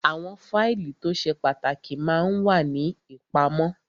Àwọn fáìlì tó ṣe pàtàkì ma ń wà ní ìpamọ́